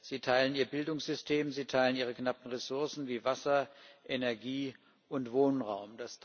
Sie teilen ihr Bildungssystem, sie teilen ihre knappen Ressourcen wie Wasser, Energie und Wohnraum.